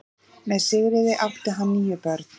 Með Sigríði átti hann níu börn.